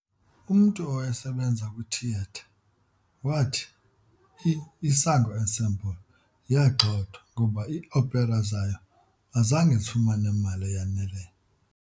Umntu owayesebenza kwithiyetha wathi i-Isango Ensemble yagxothwa ngoba ii-opera zayo azange zifumane mali eyaneleyo.